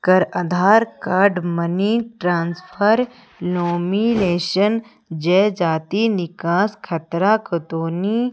कर Aadhaar card money transfer nomination जय जाति निकास खतरा खतौनी --